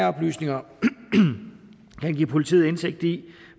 oplysninger kan give politiet indsigt i